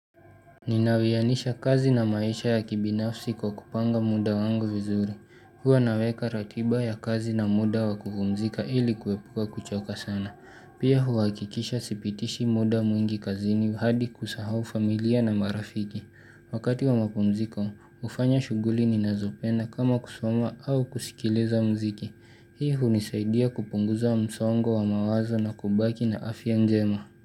Ninawiyanisha kazi na maisha ya kibinafsi kwa kupanga muda wangu vizuri. Huwa naweka ratiba ya kazi na muda wa kupumzika ili kuepuka kuchoka sana. Pia huhakikisha sipitishi muda mwingi kazini hadi kusahau familia na marafiki. Wakati wa mapumziko, hufanya shughuli ninazopenda kama kusoma au kusikiliza muziki. Hii hunisaidia kupunguza msongo wa mawazo na kubaki na afia njema.